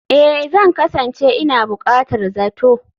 Ee, Zan kasance ina buƙatar zato